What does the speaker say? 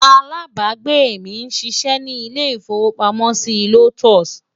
alábágbé mí sí ṣé ní ilè ifowo pàmò sí lotus